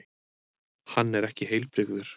Hann er ekki heilbrigður.